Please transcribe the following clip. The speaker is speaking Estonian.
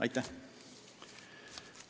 Aitäh!